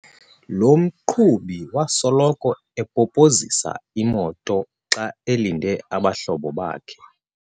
Lo mqhubi wasoloko epopozisa imoto xa elinde abahlobo bakhe.